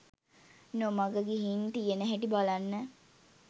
නොමග ගිහින් තියෙන හැටි බලන්න.